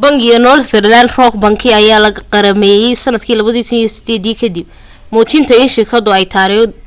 bangiga northern rock bank ayaa la qarameeyyay sanadkii 2008 kadib muujintiisa in shirkadu ay